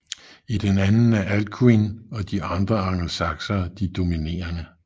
I den anden er Alcuin og andre angelsaksere de dominerende